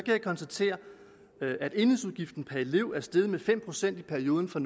jeg konstatere at enhedsudgiften per elev er steget med fem procent i perioden fra